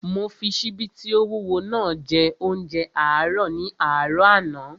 Mo fi ṣíbí tí ó wúwo naa jẹ óúnjẹ àárọ̀ ní àárọ̀ àná